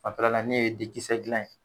Fan fɛla la n y'o dikisɛ dilan ye.